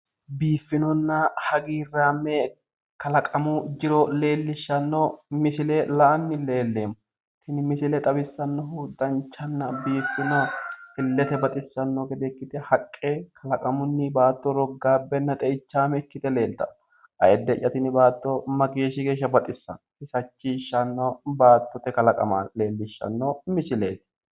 Biifinonna hagiirraame kalaqamu jiro leellishshanno misile la"anni leelleemmo. Tini misile xawissannohu danchanna biiffino illete baxissanno gede ikkite haqqe kalaqamunni baatto roggaabbenna xeichaame ikkite leeltanno. Ayiidde'ya tini baatto mageeshshi geeshsha baxissanno xaggeffachishshsanno baattote kalaqama leellishshanno misileeti.